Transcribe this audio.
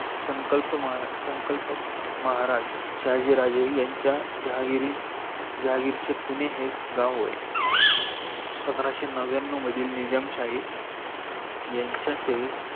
संकल्पक महराज शहाजी राजे याँचा जाहागिरी जहागीरीचे पुने गाव होये. पंद्राशे नव्यानऊ मधील निजामशाही यांच्या सेवे